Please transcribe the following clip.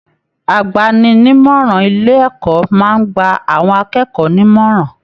Àgbàni-ní-ìmọràn ilé ẹ̀kọ́ máa n gbà àwọn akẹ́kọ̀ọ́ nímọ̀ràn.